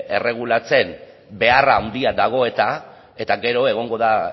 erregulatzen behar handia dago eta eta gero egongo da